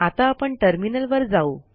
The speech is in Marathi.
आता आपण टर्मिनल वर जाऊ